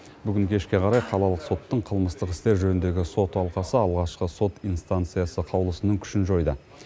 бүгін кешке қарай қалалық соттың қылмыстық істер жөніндегі сот алқасы алғашқы сот инстанциясы қаулысының күшін жойды